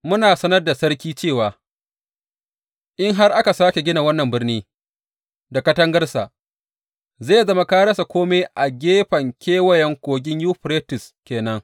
Muna sanar da sarki cewa in har aka sāke gina wannan birnin da katangarsa, zai zama ka rasa kome a gefen Kewayen Kogin Yuferites ke nan.